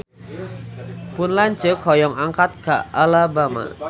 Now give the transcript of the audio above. Pun lanceuk hoyong angkat ka Alabama